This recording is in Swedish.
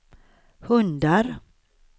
hundar